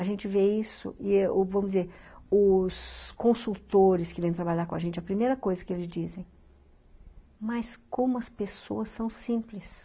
A gente vê isso, vamos dizer, os consultores que vêm trabalhar com a gente, a primeira coisa que eles dizem, mas como as pessoas são simples.